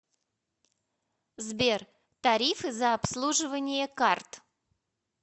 сбер тарифы за обслуживание карт